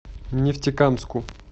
нефтекамску